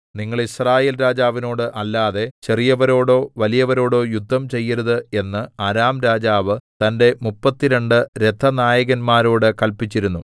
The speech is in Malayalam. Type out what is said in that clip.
നിങ്ങൾ യിസ്രായേൽ രാജാവിനോട് അല്ലാതെ ചെറിയവരോടോ വലിയവരോടോ യുദ്ധം ചെയ്യരുത് എന്ന് അരാം രാജാവ് തന്റെ മുപ്പത്തിരണ്ട് രഥനായകന്മാരോട് കല്പിച്ചിരുന്നു